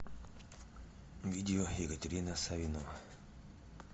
видео екатерина савинова